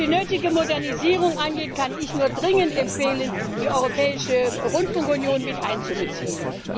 Was die nötige Modernisierung angeht, kann ich nur dringend empfehlen, die Europäische Rundfunkunion miteinzubeziehen.